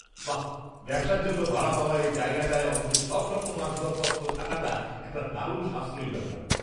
বাহ্! ব্যবসার জন্য ভাড়া পাওয়া এই জায়গাটায় অফিসের সবরকম আসবাবপত্র থাকাটা একটা দারুণ সাশ্রয়ী ব্যাপার!